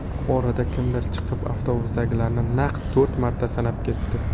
Orada kimdir chiqib, avtobusdagilarni naq to‘rt marta sanab ketdi.